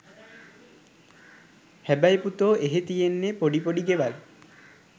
හැබැයි පුතෝ එහෙ තියෙන්නේ පොඩි පොඩි ගෙවල්.